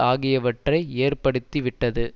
ஆகியவற்றை ஏற்படுத்திவிட்டது